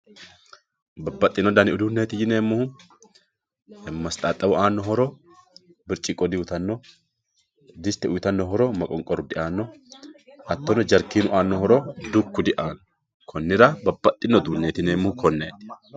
Babaxino dani uduuneti yineemohu, mastaxawu aano horo biricciqo diuyitano, disite uuyitanno horro maqonqoru diaano hatono jaarikinu aano horo duku diaano konira babaxino uduune yineemohu koneeti